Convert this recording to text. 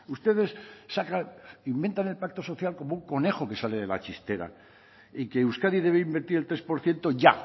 ustedes sacan inventan el pacto social como un conejo que sale de la chistera y que euskadi debe invertir el tres por ciento ya